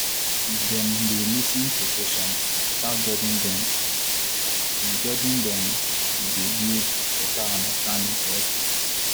if dem dey lis ten to patients without judging them e judging them e dey build better understanding for hospital.